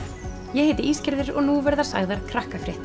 ég heiti og nú verða sagðar